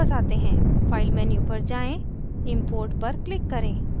file menu पर जाएँ import पर click करें